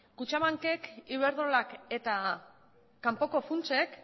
kutxabankek iberdrolak eta kanpoko funtsek